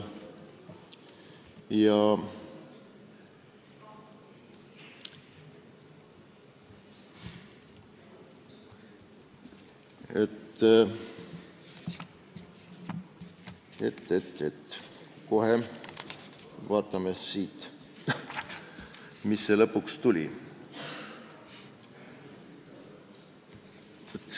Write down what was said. Kohe vaatame siit, mis lõpuks välja tuli.